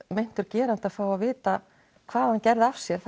meintur gerandi að fá að vita hvað hann gerði af sér